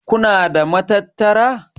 Kuna da matattara?